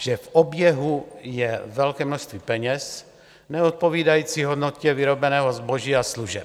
že v oběhu je velké množství peněz neodpovídající hodnotě vyrobeného zboží a služeb.